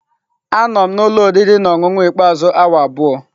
Anọ m na ụlọ oriri na ọṅụṅụ ikpeazụ awa abụọ.